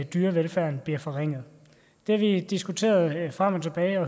dyrevelfærden bliver forringet det har vi diskuteret frem og tilbage og